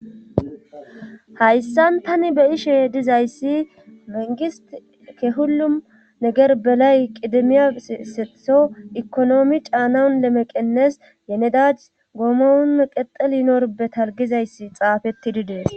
hayssan tani beyashe dizayssi mengist ke hullum neger belay qidemiya setho ekonoomi caanaun lemeqennes yenedad goomon qexelinorbe talgizayssi xafetidi dees